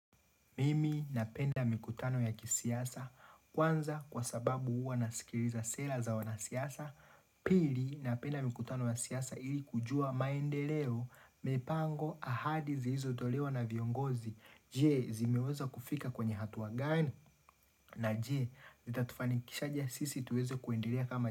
Mimi napenda mikutano ya kisiasa, kwanza kwa sababu huwa nasikiliza sera za wanasiasa, pili napenda mikutano ya siasa ili kujua maendeleo, mipango ahadi zilizotolewa na viongozi, je zimeweza kufika kwenye hatua gani, na je zitatufanikisha aje sisi tuweze kuendelea kama.